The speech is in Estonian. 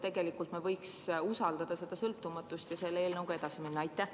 Või võiksime meie kohtu sõltumatust usaldada ja selle eelnõuga edasi minna?